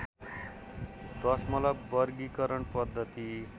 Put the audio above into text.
दशमलव वर्गीकरण पद्धति